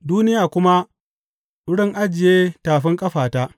duniya kuma wurin ajiye tafin ƙafata.